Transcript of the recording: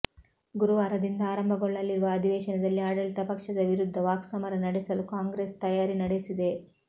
ಗುರುವಾರದಿಂದ ಆರಂಭಗೊಳ್ಳಲಿರುವ ಅಧಿವೇಶನದಲ್ಲಿ ಆಡಳಿತ ಪಕ್ಷದ ವಿರುದ್ಧ ವಾಕ್ಸಮರ ನಡೆಸಲು ಕಾಂಗ್ರೆೆಸ್ ತಯಾರಿ ನಡೆಸಿದೆ